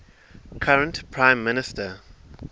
current prime minister